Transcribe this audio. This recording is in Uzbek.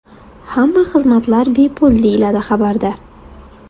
Hamma xizmatlar bepul”, deyiladi xabarda.